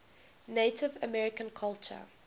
native american culture